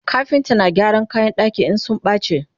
kafinta na gyaran kayan ɗaki in sun bace